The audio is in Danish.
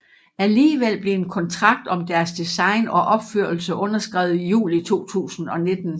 Alligevel blev en kontrakt om deres design og opførelse underskrevet i juli 2019